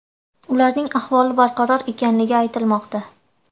Ularning ahvoli barqaror ekanligi aytilmoqda.